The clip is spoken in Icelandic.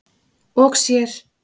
og sér.